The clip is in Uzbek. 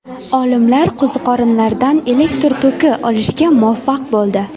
Olimlar qo‘ziqorinlardan elektr toki olishga muvaffaq bo‘ldi.